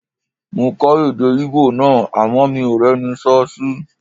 Mo kọ́ èdè Íbò náà àmọ́ mi ò rẹ́ni sọ́ sí